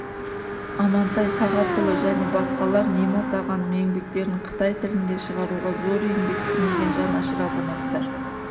амантай сағатұлы және басқалар немат ағаның еңбектерін қытай тілінде шығаруға зор еңбек сіңірген жанашыр азаматтар